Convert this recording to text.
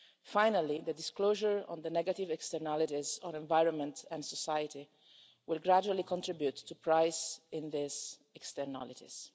Finally, the disclosure on the negative externalities on environment and society will gradually contribute to price in these externalities.